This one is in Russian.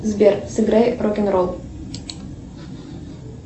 сбер сыграй рок н ролл